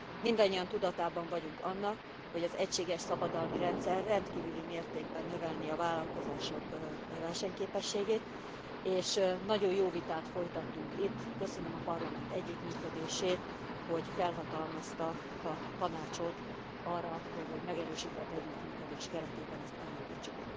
Mindannyian tudatában vagyunk annak, hogy az egységes szabadalmi rendszer rendkívüli mértékben növelné a vállalkozások versenyképességét. És nagyon jó vitát folytattunk itt, köszönöm a Parlament együttműködését, hogy felhatalmazta a Tanácsot arra, hogy egy megerősített együttműködés keretében ezt elindítsuk.